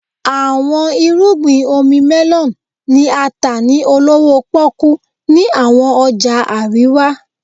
Awọn irugbin omi melon ni a ta ni olowo poku ni awọn ọja arewa.